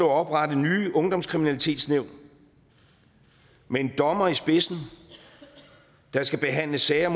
at oprette nye ungdomskriminalitetsnævn med en dommer i spidsen der skal behandle sager